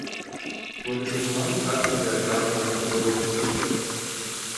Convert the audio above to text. Smo že kaznovali kakšnega igralca za podoben prekršek?